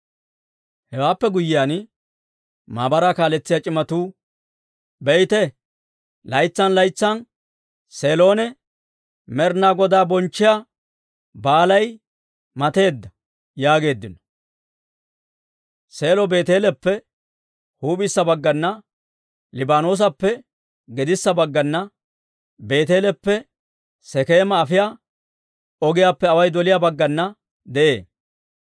Hewaappe guyyiyaan, maabaraa kaaletsiyaa c'imatuu, «Be'ite, laytsan laytsan Seelon Med'inaa Godaa bonchchiyaa baalay mateedda» yaageeddino. Seelo Beeteeleppe huup'issa baggana, Laboonappe gedissa baggana, Beeteeleppe Sekeema afiyaa ogiyaappe away doliyaa baggana de'ee.